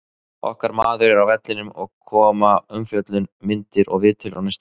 Okkar maður er á vellinum og koma umfjöllun, myndir og viðtöl á næstunni.